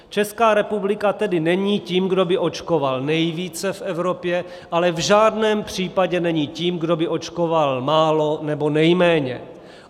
Česká republika tedy není tím, kdo by očkoval nejvíce v Evropě, ale v žádném případě není tím, kdo by očkoval málo nebo nejméně.